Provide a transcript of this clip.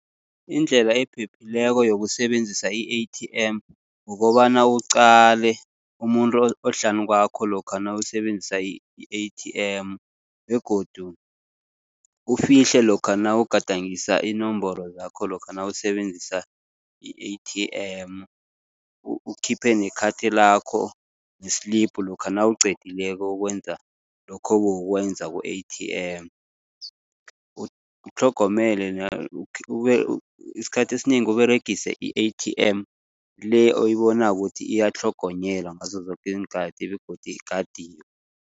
Indlela ephephileko yokusebenzisa i-A_T_M, ukobana uqale umuntu ohlanu kwakho lokha nawusebenzisa i-A_T_M. Begodu ufihle lokha nawugadangisa iinomboro zakho, lokha nawusebenzisa i-A_T_M. UKhiphe nekhathi lakho ne-slip lokha nawuqedileko ukwenza lokho ebewukwenza ku-A_T_M. Utlhogomele isikhathi esinengi Uberegise i-A_T_M le oyibonako ukuthi iyatlhogonyelwa ngazo zoke iinkathi begodu igadiwe.